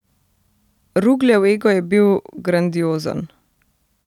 Rugljev ego je bil grandiozen.